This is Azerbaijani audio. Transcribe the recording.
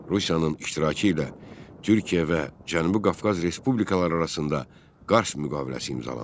Rusiyanın iştirakı ilə Türkiyə və Cənubi Qafqaz respublikaları arasında Qars müqaviləsi imzalandı.